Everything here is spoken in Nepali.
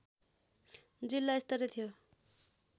जिल्ला स्तरीय थियो